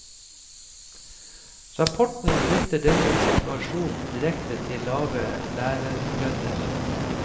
Rapporten knytter denne situasjonen direkte til lave lærerlønner.